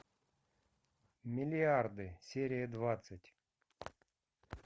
миллиарды серия двадцать